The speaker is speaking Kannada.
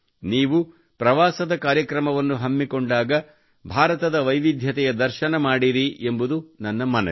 ನೀವು ಪ್ರವಾಸದ ಕಾರ್ಯಕ್ರಮವನ್ನು ಹಮ್ಮಿಕೊಂಡಾಗ ಭಾರತದ ವೈವಿಧ್ಯತೆಯ ದರ್ಶನ ಮಾಡಿರಿ ಎಂಬುದು ನನ್ನ ಮನವಿ